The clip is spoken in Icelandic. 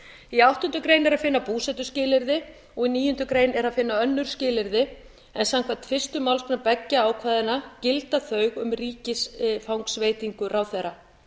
í áttundu grein er að finna búsetuskilyrði og í níundu grein er að finna önnur skilyrði en samkvæmt fyrstu málsgrein beggja ákvæðanna gilda þau um ríkisfangsveitingar ráðherra